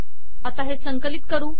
आता हे संकलित करू